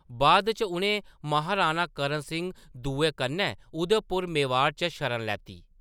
बाद इच उʼनें महाराणा कर्ण सिंह दुए कन्नै उदयपुर मेवाड़ च शरण लैती।